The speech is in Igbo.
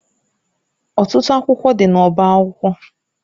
Ọtụtụ akwụkwọ dị n'ọba akwụkwọ.